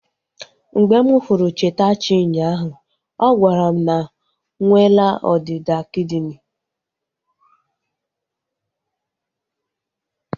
Mgbe m hụrụ Chetachi unyaahu, ọ gwara m na nwela ọdịda kidini